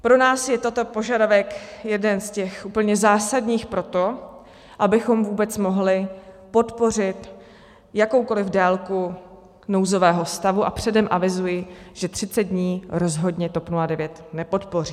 Pro nás je tento požadavek jeden z těch úplně zásadních proto, abychom vůbec mohli podpořit jakoukoli délku nouzového stavu, a předem avizuji, že 30 dní rozhodně TOP 09 nepodpoří.